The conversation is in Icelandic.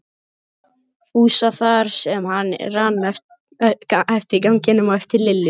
Fúsa þar sem hann rann eftir ganginum á eftir Lillu.